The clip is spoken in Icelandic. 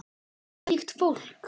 Hvílíkt fólk!